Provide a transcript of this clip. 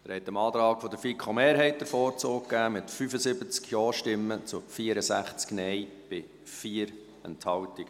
Sie haben dem Antrag der FiKo-Mehrheit den Vorzug gegeben, mit 75 Ja- gegen 64 Nein-Stimmen bei 4 Enthaltungen.